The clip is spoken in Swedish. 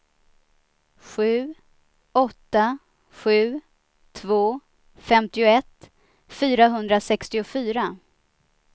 sju åtta sju två femtioett fyrahundrasextiofyra